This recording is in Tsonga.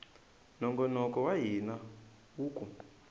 nongonoko wa hina wa ku